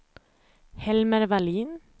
Helmer Vallin